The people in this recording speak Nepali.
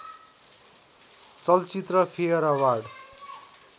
चलचित्र फेयर अवार्ड